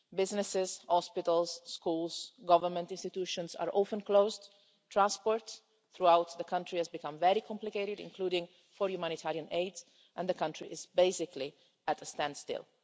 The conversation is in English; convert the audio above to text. Businesses, hospitals, schools, government institutions are often closed, transport throughout the country has become very complicated, including for humanitarian aid, and the country is basically at a standstill.